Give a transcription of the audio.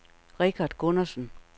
Richard Gundersen